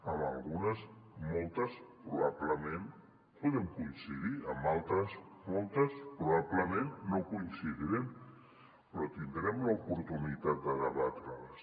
en algunes moltes probablement podem coincidir en altres moltes probablement no coincidirem però tindrem l’oportunitat de debatre les